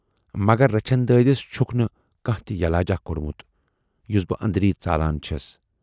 مگر رچھن دٲدِس چھُکھ نہٕ کانہہ تہِ یلاجا کوڑمُت، یُس بہٕ ٲندری ژالان چھَس۔